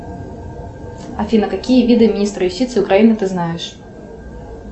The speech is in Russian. афина какие виды министра юстиции украины ты знаешь